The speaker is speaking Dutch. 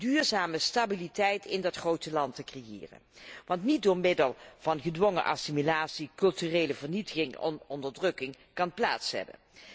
duurzame stabiliteit in dat grote land te creëren, die niet door middel van gedwongen assimilatie, culturele vernietiging of onderdrukking kan plaatsvinden.